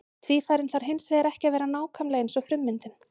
Tvífarinn þarf hins vegar ekki að vera nákvæmlega eins og frummyndin.